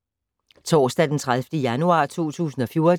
Torsdag d. 30. januar 2014